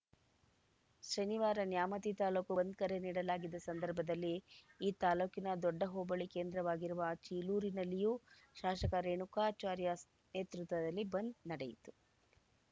ಶನಿವಾರ ನ್ಯಾಮತಿ ತಾಲೂಕು ಬಂದ್‌ ಕರೆ ನೀಡಲಾಗಿದ್ದ ಸಂದರ್ಭದಲ್ಲಿ ಈ ತಾಲೂಕಿನ ದೊಡ್ಡ ಹೋಬಳಿ ಕೇಂದ್ರವಾಗಿರುವ ಚೀಲೂರಿನಲ್ಲಿಯೂ ಶಾಸಕ ರೇಣುಕಾಚಾರ್ಯ ನೇತೃತ್ವದಲ್ಲಿ ಬಂದ್‌ ನಡೆಯಿತು